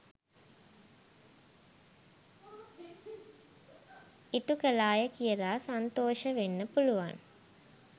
ඉටු කළාය කියලා සන්තෝෂ වෙන්න පුළුවන්.